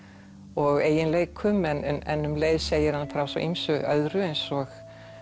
og eiginleikum en um leið segir hann frá ýmsu öðru eins og